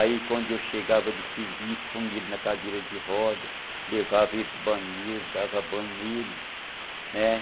Aí quando eu chegava do serviço, põe ele na cadeira de roda, levava ele para o banheiro, dava banho nele.